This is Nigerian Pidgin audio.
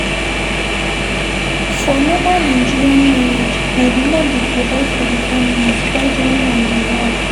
For normal Nigerian marriage, na di man dey provide for di family while di woman dey help